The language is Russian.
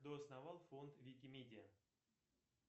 кто основал фонд вики медиа